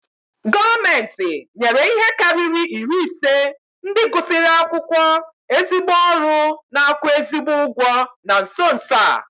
Gọọmenti nyere ihe karịrị iri ise ndị gụsịrị akwụkwọ ezigbo ọrụ n'akwu ezigbi ụgwọ na nso nso a